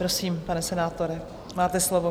Prosím, pane senátore, máte slovo.